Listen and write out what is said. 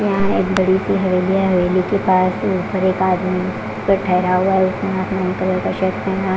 यहां एक बड़ी सी हवेली है हवेली के पास ऊपर एक आदमी पे ठहरा हुआ है उसने आसमानी कलर का शर्ट पहना--